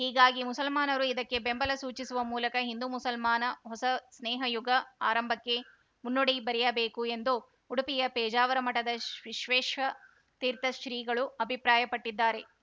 ಹೀಗಾಗಿ ಮುಸಲ್ಮಾನರು ಇದಕ್ಕೆ ಬೆಂಬಲ ಸೂಚಿಸುವ ಮೂಲಕ ಹಿಂದೂಮುಸಲ್ಮಾನ ಹೊಸ ಸ್ನೇಹಯುಗ ಆರಂಭಕ್ಕೆ ಮುನ್ನುಡಿ ಬರೆಯಬೇಕು ಎಂದು ಉಡುಪಿಯ ಪೇಜಾವರ ಮಠದ ವಿಶ್ವೇಶತೀರ್ಥ ಶ್ರೀಗಳು ಅಭಿಪ್ರಾಯಪಟ್ಟಿದ್ದಾರೆ